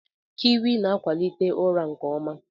Kiwi na-akwalite ụra nke ọma.